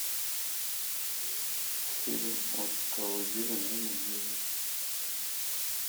фильм от колыбели до могилы